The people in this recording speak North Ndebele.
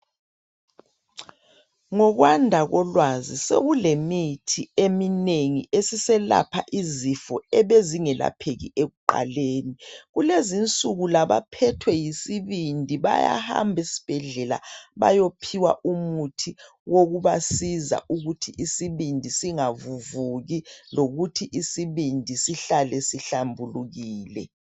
Ngokwanda kolwazi sekulemithi eminengi esiselapha izifo ebe zingelapheki ekuqaleni. Kulezinsuku labaphethwe yisibindi bayahamb' esbhedlela bayephiwa umuthi wokubasiza ukuthi isibindi singavuvuki, lokuthi isibindi sihlale sihlambulukile